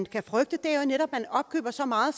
kan frygte er jo netop at man opkøber så meget